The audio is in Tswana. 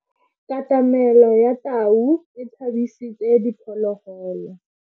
Katamelo ya tau e tshabisitse diphologolo.